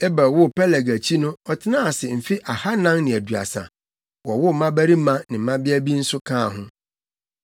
Eber woo Peleg akyi no ɔtenaa ase mfe ahannan ne aduasa, wowoo mmabarima ne mmabea bi nso kaa ho.